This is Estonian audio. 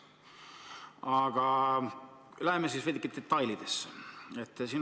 Aga läheme veidike detailidesse.